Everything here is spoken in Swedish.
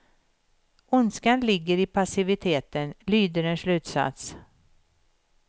Ondskan ligger i passiviteten, lyder en slutsats.